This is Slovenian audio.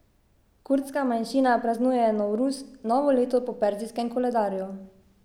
Kurdska manjšina praznuje novruz, novo leto po perzijskem koledarju.